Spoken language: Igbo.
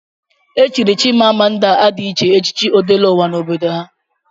Echiri Chimamanda Adichie echichi Odeleụwa n'obodo ya.